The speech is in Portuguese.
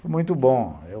Foi muito bom, eu